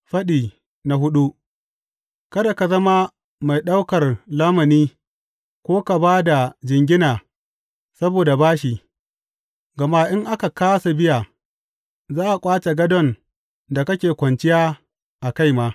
Faɗi hudu Kada ka zama mai ɗaukar lamuni ko ka ba da jingina saboda bashi; gama in ka kāsa biya za a ƙwace gadon da kake kwanciya a kai ma.